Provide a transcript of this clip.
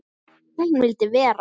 Hún vildi vera.